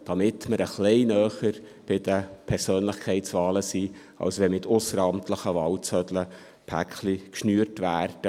Dies, damit wir ein wenig näher bei den Persönlichkeitswahlen sind, als wenn mit ausseramtlichen Wahlzetteln Pakete geschnürt werden.